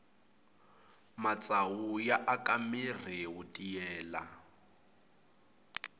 matsavu ya aka mirhi wu tiyelela